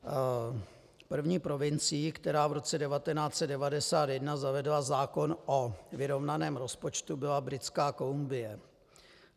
První provincií, která v roce 1991 zavedla zákon o vyrovnaném rozpočtu, byla Britská Kolumbie.